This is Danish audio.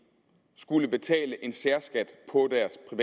skulle betale en særskat